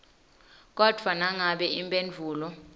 kodvwa nangabe imphendvulo